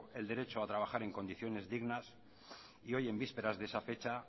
el derecho a trabajar en condiciones dignas y hoy en vísperas de esa fecha